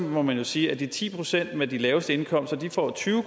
må man jo sige at de ti procent med de laveste indkomster får tyve